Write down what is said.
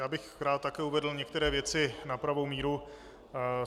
Já bych rád také uvedl některé věci na pravou míru.